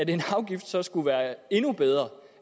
en afgift så skulle være endnu bedre